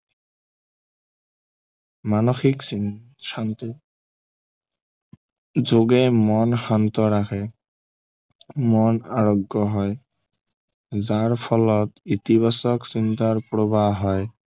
মানসিক শান্তি যোগে মন শান্ত ৰাখে মন আৰোগ্য় হয় যাৰ ফলত ইতিবাচক চিন্তাৰ প্ৰৱাহ হয়